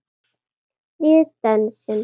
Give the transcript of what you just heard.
Við dönsum.